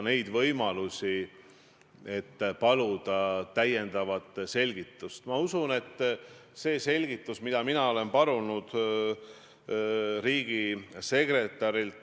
Me võime arutleda pikalt ja laialt selle üle, milline teoreetiline poliitiliste jõudude esindatus valitsuses on selle jaoks hea.